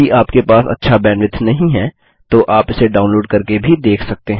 यदि आपके पास अच्छा बैंडविड्थ नहीं है तो आप इसे डाउनलोड़ करके भी देख सकते हैं